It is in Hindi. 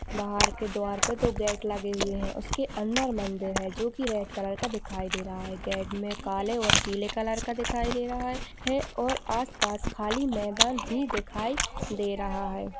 बाहर के द्वार पर दो गेट लगे हुए है उसके अंदर मंदिर है जो की रेड कलर का दिखाई दे रहा है गेट में काले और पीले कलर का दिखाई दे रहा है और आसपास में खाली मैदान भी दिखाई दे रहा है।